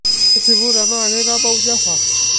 tisipu tenaa keitabau java